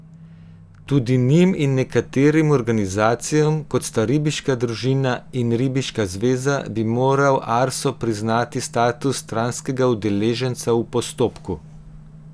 Tudi njim in nekaterim organizacijam, kot sta ribiška družina in ribiška zveza, bi moral Arso priznati status stranskega udeleženca v postopku.